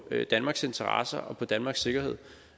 danmarks interesser og på danmarks sikkerhed